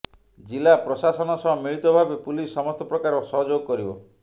ଜିଲ୍ଲା ପ୍ରଶାସନ ସହ ମିଳିତ ଭାବେ ପୁଲିସ ସମସ୍ତ ପ୍ରକାର ସହଯୋଗ କରିବ